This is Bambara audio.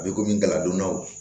A bɛ komi galadonnaw